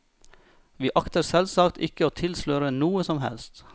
Vi akter selvsagt ikke å tilsløre noe som helst.